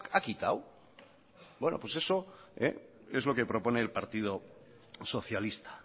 ha quitado bueno pues eso es lo que propone el partido socialista